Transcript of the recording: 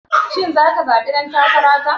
Shin zaka zaɓi ɗan takara ta?